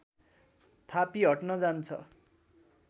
थापी हट्न जान्छ